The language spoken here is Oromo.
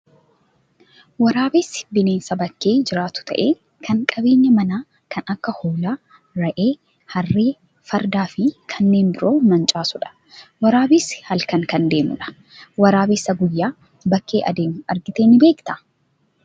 Waraabessi bineensa bakkee jiraatu ta'ee, kan qabeenya manaa kan akka hoolaa, re'ee, harree, fardaa fi kanneen biroo mancaasudha. Waraabessi halkan kan adeemu dha. Waraabeessa guyyaa bakkee adeemu argitee ni beektaa?